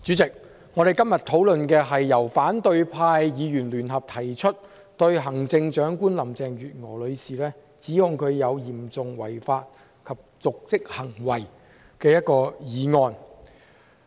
主席，我們今天辯論的是由反對派議員聯合提出、指控行政長官林鄭月娥女士有嚴重違法及瀆職行為的議案。